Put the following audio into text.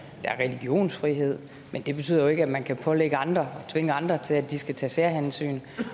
der er religionsfrihed men det betyder jo ikke at man kan pålægge andre og tvinge andre til at de skal tage særhensyn